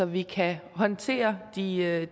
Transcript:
vi kan håndtere de